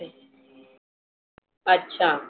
अच्छा